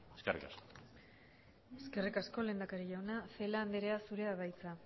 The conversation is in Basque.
eskerrik asko eskerrik asko lehendakari jauna celaá andrea zurea da hitza